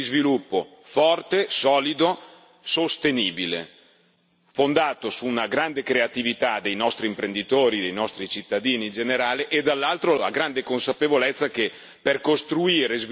sostenibile, fondato su una grande creatività dei nostri imprenditori e dei nostri cittadini in generale e, dall'altro, sulla grande consapevolezza che per costruire sviluppo economico ci vuole rispetto della persona.